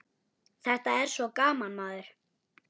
Þetta er svo gaman, maður.